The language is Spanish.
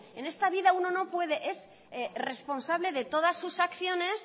en esta vida uno no puede es responsable de todas sus acciones